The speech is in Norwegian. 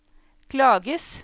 klages